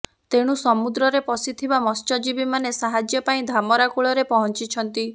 ତେଣୁ ସମୁଦ୍ରରେ ଫସିଥିବା ମତ୍ସ୍ୟଜୀବୀମାନେ ସାହାଯ୍ୟ ପାଇଁ ଧାମରା କୂଳରେ ପହଂଚିଛନ୍ତି